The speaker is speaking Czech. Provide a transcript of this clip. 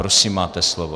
Prosím, máte slovo.